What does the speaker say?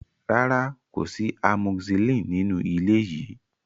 Rárá, kò sí amoxicillin nínú ilé yìí.